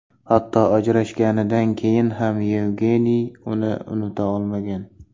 Hatto ajrashganidan keyin ham Yevgeniy uni unuta olmagan.